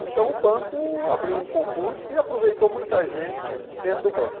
Então o banco abriu um concurso e aproveitou muita gente dentro do banco.